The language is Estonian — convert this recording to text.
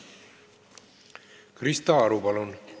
Krista Aru, palun!